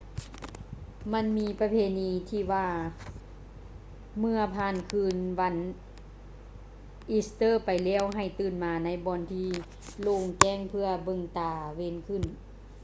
ມັນມີປະເພນີທີ່ວ່າ ເມື່ອຜ່ານຄືນວັນອີສເຕີໄປແລ້ວໃຫ້ຕື່ນມາໃນບ່ອນທີ່ໂລ່ງແຈ້ງເພື່ອເບິ່ງຕາເວັນຂຶ້ນ